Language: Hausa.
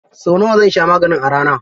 Sau nawa zan sha maganin a rana?